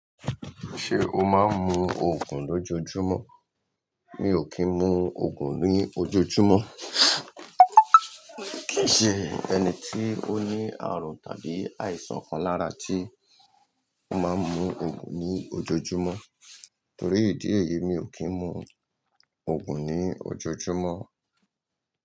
Ṣé o máa ń mu oogùn lójoojúmọ́? Mi ò kí ń mu oogùn ní ojoojúmọ́. Kì í ṣe ẹni tí ó ní àrùn tàbí àìsàn kan lára tí o máa ń mu oogùn ní ojoojúmọ́. Torí ìdí èyí, mi ò kí ń mu oogùn ní ojoojúmọ́.